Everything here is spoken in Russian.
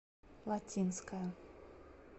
латинская